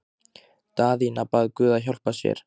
Daðína bað guð að hjálpa sér.